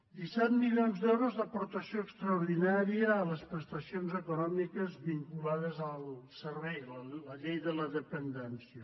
disset milions d’euros d’aportació extraordinària a les prestacions econòmiques vinculades al servei la llei de la dependència